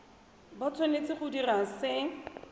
ba tshwanetse go dira se